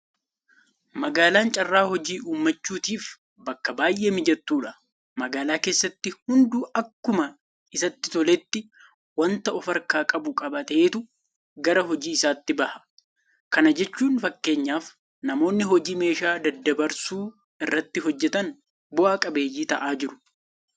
Magaalaan carraa hojii uummachutiif bakka baay'ee mijattuudha. Magaalaa keessatti hunduu akkuma isatti toletti waanta ofarkaa qabu qabateetu gara hojii isaatti baha. Kana jechuun fakkeenyaaf namoonni hojii meeshaa daddabarsuu irratti hojjetan bu'a qabeeyyii ta'aa jiru.